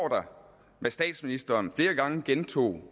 hvad statsministeren flere gange gentog